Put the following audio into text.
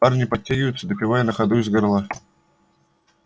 парни подтягиваются допивая на ходу из горла